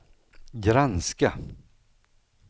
granska